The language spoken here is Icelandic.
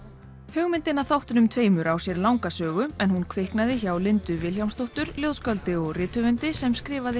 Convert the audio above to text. hugmyndin að þáttunum tveimur á sér langa sögu en hún kviknaði hjá Lindu Vilhjálmsdóttur ljóðskáldi og rithöfundi sem skrifaði